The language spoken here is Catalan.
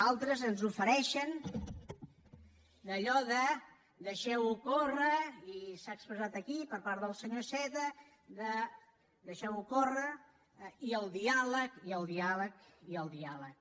altres ens ofereixen allò de deixeu ho córrer i s’ha expressat aquí per part del senyor iceta de deixeu ho córrer i el diàleg i el diàleg i el diàleg